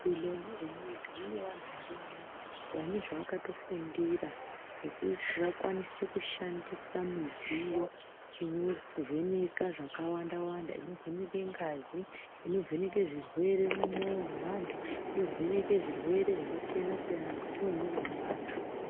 Muzvibhedhlera mwega mwega mune vantu varimwo vane zvavakatofundira zvekuti vakwanise kushandisa midziyo inovheneka zvakawanda wanda, inovheneka ngazi, inovheneka zvirwere mumwoyo nevantu , inovheneke zvirwere zvakasiyana siyana mukati mwemwiri mwevantu.